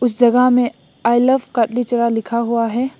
इस जगह में आई लव कत्लीचेरा लिखा हुआ है।